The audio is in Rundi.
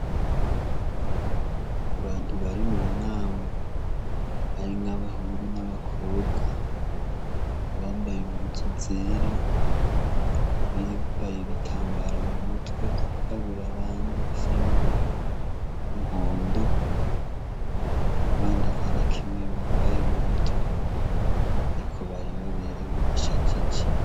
Abantu bari mu nama, harimwo abahungu n'abakobwa, abambaye impuzu zera, abambaye ibitambara m'umutwe vyirabura, n'abandi bisa n'umuhondo n'abandi atanakimwe bambaye m'umutwe, ariko bari baberewe bashajije.